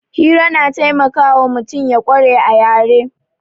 Hira na taimakawa mutum ya ƙware a yare